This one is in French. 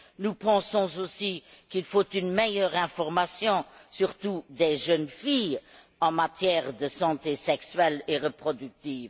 Nous pensons aussi qu'il faut une meilleure information, surtout des jeunes filles, en matière de santé sexuelle et reproductive.